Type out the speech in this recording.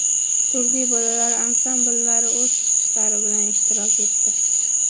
Turli bolalar ansambllari o‘z chiqishlari bilan ishtirok etdi.